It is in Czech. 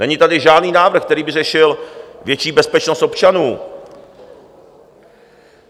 Není tady žádný návrh, který by řešil větší bezpečnost občanů.